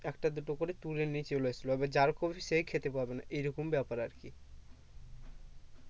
একটা দুটো করে তুলে নিয়ে চলে আসলো আবার যার কপি সেই খেতে পাবে না এই রকম ব্যাপার আর কি